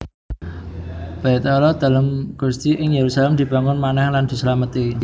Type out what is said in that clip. Baitallah Dalem Gusti ing Yerusalem dibangun manèh lan dislameti